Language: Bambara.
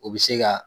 O bɛ se ka